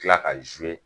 Kila ka